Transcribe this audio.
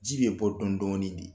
Ji bɛ bɔ dɔn dɔnni de